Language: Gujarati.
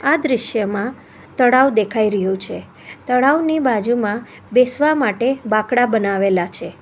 આ દ્રશ્યમાં તળાવ દેખાઈ રહ્યું છે તળાવની બાજુમાં બેસવા માટે બાકડા બનાવેલા છે.